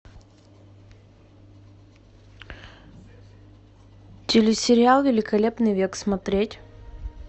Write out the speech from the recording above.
телесериал великолепный век смотреть